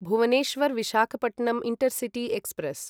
Bhubaneswar Visakhapatnam intercity express